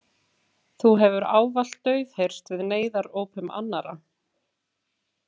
Þú hefur ávallt daufheyrst við neyðarópum annarra.